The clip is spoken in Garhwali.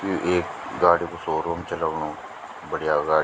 यु एक गाडी कु शोरूम च लगणु बढ़िया गाडी।